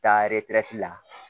Taa eretɛrɛti la